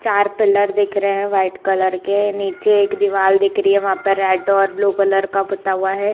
चार पिलर दिख रहे हैवाइट कलर के नीचे एक दीवार दिख रही है वहा पर रेड और ब्लू कलर पुता हुआ है।